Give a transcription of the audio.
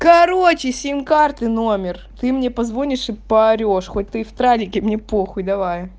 короче сим-карты номер ты мне позвонишь и поорёшь хоть ты и в тралике мне похуй давай